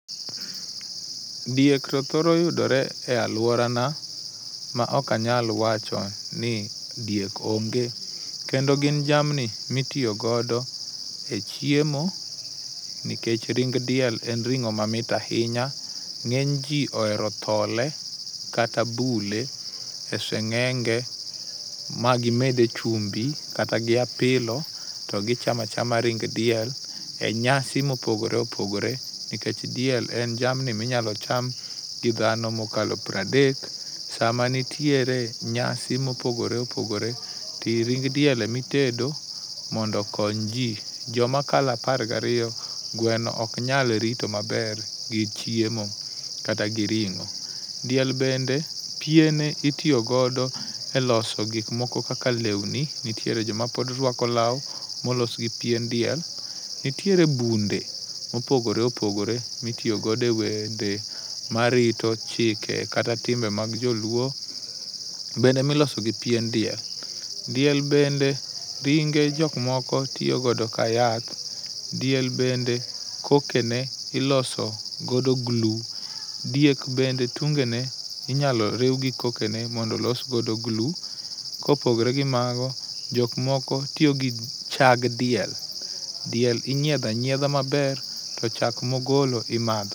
Diek to thoro yudore e aluorana maok anyal wacho ni diek onge. Kendo gin jamni ma itiyo godo e chiemo, nikech ring diel en ring'o mamit ahinya. Ng'eny ji ohero thole kata bule e seng'enge ma gimede chumbi kata gi apilo to gichamo achama ring diel e nyasi mopogore opogore, nikech diel en jamni minyalo cham gi dhano mokalo piero adek sama nitiere nyasi mopogore opogore to ring diel ema itedo mondo okony ji. Joma kalo apar gariyo gweno ok nyal rito maber gichiemo. Kata gi ring'o, diel bende piene itiyo godo eloso gik moko kaka lewni nitiere joma pod ruako law molos gi pien diel. Nitiere bunde mopogore opogore ma itiyo godo e wende marito chike kata timbe mag joluo bende ma iloso gi pien diel. Diel bende ringe jok moko tiyo godo ka yath, diel bende kokene iloso godo glu. Diek bende tungene inyalo riw gi kokene mondo olos godo glu, kopogore gi mago, jok moko tiyo gi chag diel diel inyiedho anyiedha maber to chak ma ogolo imadho.